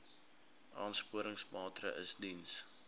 aansporingsmaatre ls diens